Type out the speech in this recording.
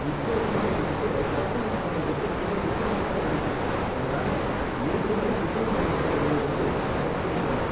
இப்போதைக்கு எங்ககிட்ட கஸ்டமைஸ் பண்றதுக்கு சில டிசைன்ஸ் தான் இருக்கு. அதனால ஏற்கனவே டிசைன் பண்ணியிருக்குறதுல இருந்து செலக்ட் பண்ணிக்கோங்க.